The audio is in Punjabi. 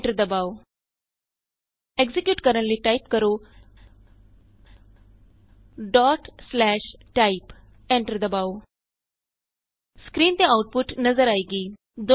ਐਂਟਰ ਦਬਾਉ ਐਕਜ਼ੀਕਿਯੂਟ ਕਰਨ ਲਈ ਟਾਈਪ ਕਰੋ type ਐਂਟਰ ਦਬਾਉ ਸਕਰੀਨ ਤੇ ਆਉਟਪੁਟ ਨਜ਼ਰ ਆਏਗੀ